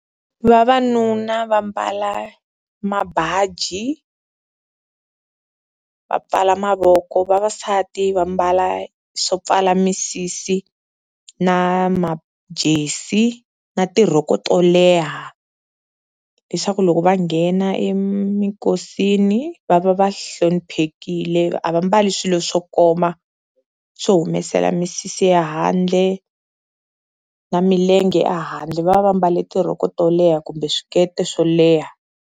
Vavanuna va mbala mabaji va pfala mavoko, vavasati va mbala swo pfala misisi na majesi, na tirhoko to leha leswaku loko va nghena eminkosini va va va hloniphekile a va mbali swilo swo koma swo humesela misisi ya handle na milenge ehandle, va va va mbale tirhoko to leha kumbe swikete swo leha.